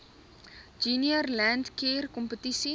junior landcare kompetisie